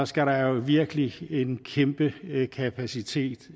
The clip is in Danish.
skal der jo virkelig en kæmpe kapacitet